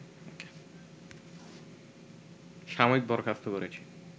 সাময়িক বরখাস্ত করেছে